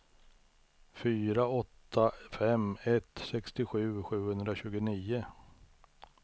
fyra åtta fem ett sextiosju sjuhundratjugonio